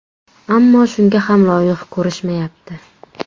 Ammo shunga ham loyiq ko‘rishmayapti.